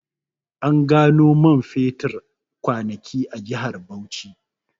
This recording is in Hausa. An gano man fetur kwanaki a jihar Bauchi